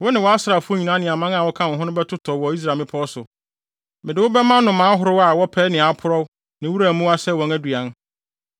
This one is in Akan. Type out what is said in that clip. Wo ne wʼasraafo nyinaa ne aman a wɔka wo ho no bɛtotɔ wɔ Israel mmepɔw so. Mede wo bɛma nnomaa ahorow a wɔpɛ nea aporɔw ne wuram mmoa sɛ wɔn aduan.